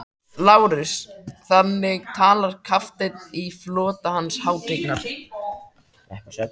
LÁRUS: Þannig talar kafteinn í flota Hans hátignar?